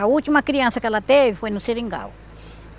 A última criança que ela teve foi no seringal.